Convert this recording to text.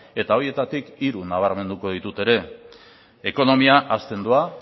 eta horietatik hiru nabarmenduko ditut ere ekonomia hazten doa